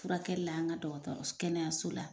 Furakɛli la an ka dɔgɔtɔrɔ kɛnɛyaso la.